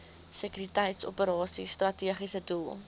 sekuriteitsoperasies strategiese doel